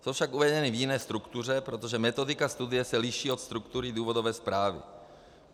Jsou však uvedeny v jiné struktuře, protože metodika studie se liší od struktury důvodové zprávy.